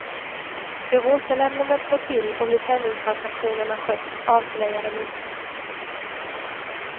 Hur återlämnandet gått till och hur penningtransaktionerna skötts avslöjar de inte.